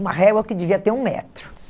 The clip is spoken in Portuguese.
Uma régua que devia ter um metro.